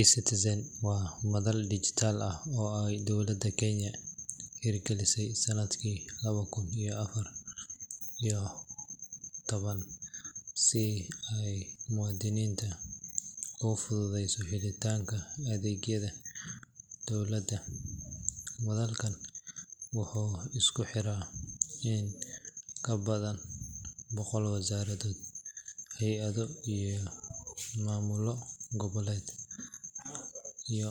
eCitizen waa madal dijitaal ah oo ay dowladda Kenya hirgelisay sanadkii laba kun iyo afar iyo toban si ay muwaadiniinta ugu fududeyso helitaanka adeegyada dowladda. Madalkaan wuxuu isku xiraa in ka badan boqol wasaaradood, hay'ado, iyo maamullo goboleedyo,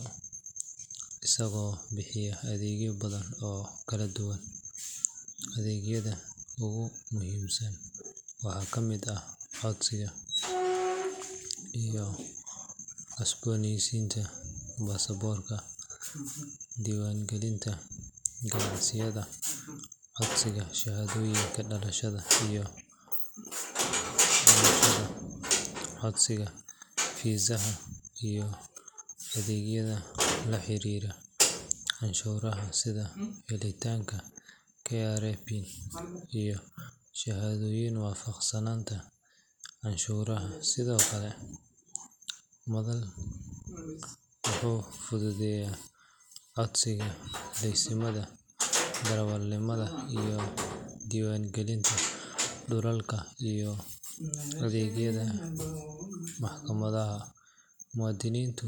isagoo bixiya adeegyo badan oo kala duwan. Adeegyada ugu muhiimsan waxaa ka mid ah codsiga iyo cusboonaysiinta baasaboorka, diiwaangelinta ganacsiyada, codsiga shahaadooyinka dhalashada iyo dhimashada, codsiga fiisaha, iyo adeegyada la xiriira canshuuraha sida helitaanka KRA PIN iyo shahaadooyinka waafaqsanaanta canshuuraha. Sidoo kale, madalku wuxuu fududeeyaa codsiga laysimada darawalnimada, diiwaangelinta dhulalka, iyo adeegyada maxkamadaha. Muwaadiniintu.